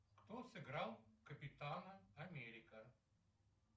кто сыграл капитана америка